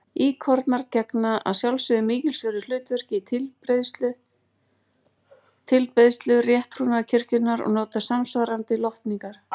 Íkonar gegna að sjálfsögðu mikilsverðu hlutverki í tilbeiðslu rétttrúnaðarkirkjunnar og njóta samsvarandi lotningar.